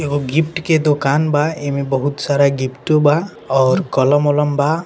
एगो गिफ्ट के दोकान बा ऐमे बहुत सारा गिफ्ट बा और कोलम बोलाम बा।